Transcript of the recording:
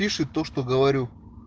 пишет то что говорю